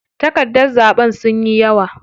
Takardar zaɓen sunyi yawa.